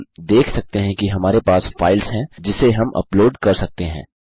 हम देख सकते हैं हमारे पास फाइल्स हैं जिसे हम उपलोड कर सकते हैं